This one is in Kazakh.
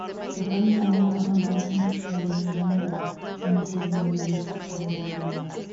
рухани жаңғыру адам баласының ішкі әлемінің жаңаруы сана сезімінің өзгерісті қабылдай білуі